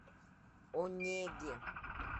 онеге